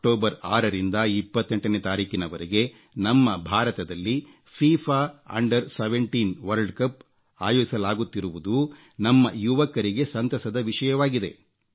October 6ರಿಂದ 28ರ ವರೆಗೆ ನಮ್ಮ ಭಾರತದಲ್ಲಿ ಫೀಫಾ 17 ವರ್ಷದೊಳಗಿನವರ ವಿಶ್ವಕಪ್ ಆಯೋಜಿಸಲಾಗುತ್ತಿರುವುದು ನಮ್ಮ ಯುವಕರಿಗೆ ಸಂತಸದ ವಿಷಯವಾಗಿದೆ